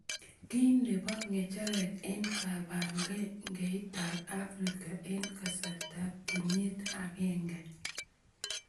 Ki nebo ng'echeret eng kibagengeitab Africa eng kasartab kenyiit agenge.